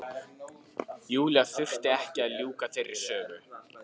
Júlía þurfti ekki að ljúka þeirri sögu.